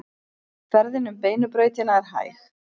Ferðin um Beinu brautina er hæg